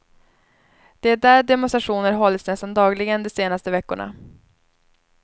Det är där demonstrationer hållits nästan dagligen de senaste veckorna.